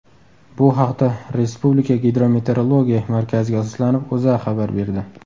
Bu haqda Respublika Gidrometeorologiya markaziga asoslanib, O‘zA xabar berdi .